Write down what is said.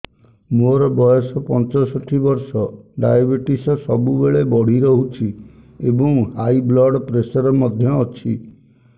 ମୋର ବୟସ ପଞ୍ଚଷଠି ବର୍ଷ ଡାଏବେଟିସ ସବୁବେଳେ ବଢି ରହୁଛି ଏବଂ ହାଇ ବ୍ଲଡ଼ ପ୍ରେସର ମଧ୍ୟ ଅଛି